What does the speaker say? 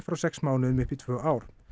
frá sex mánuðum upp í tvö ár